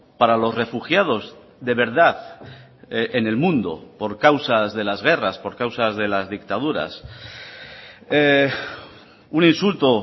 para los refugiados de verdad en el mundo por causas de las guerras por causas de las dictaduras un insulto